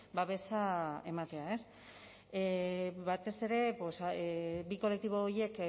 babesa ematea batez ere bi kolektibo horiek